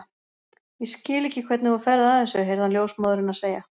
Ég skil ekki hvernig þú ferð að þessu heyrði hann ljósmóðurina segja.